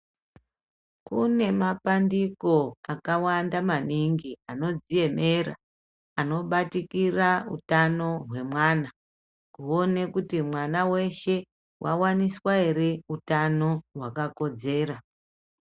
Kune mapandiko akawanda maningi anozviemera anobatikira hutano hwemwana kuona kuti mwana weshe wawaniswa here hutano hwakakodzera.